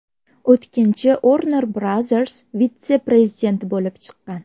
O‘tkinchi Uorner Brazers vitse-prezidenti bo‘lib chiqqan.